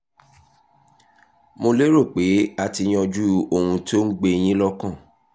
mo lérò pé a ti yanjú ohun tó ń gbé yín lọ́kàn